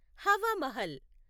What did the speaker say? Hawa Mahal